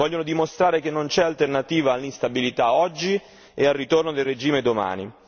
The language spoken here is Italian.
Vogliono dimostrare che non c'è alternativa all'instabilità oggi e al ritorno del regime domani.